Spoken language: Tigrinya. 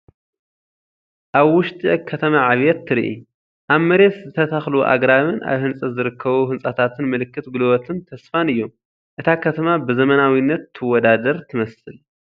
ኣብ ውሽጢ ከተማ ዕብየት ትርኢ። ኣብ መሬት ዝተተኽሉ ኣግራብን ኣብ ህንፀት ዝርከቡ ህንፃታትን ምልክት ጉልበትን ተስፋን እዮም፤ እታ ከተማ ብዘመናዊነት ትወዳደር ትመስል።